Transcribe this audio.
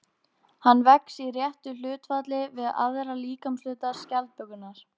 Hann vex í réttu hlutfalli við aðra líkamshluta skjaldbökunnar.